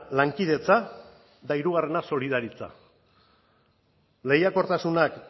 lankidetza eta hirugarrena solidaritza lehiakortasunak